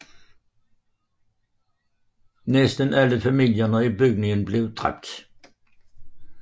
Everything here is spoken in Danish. Næsten alle familierne i bygningen blev dræbt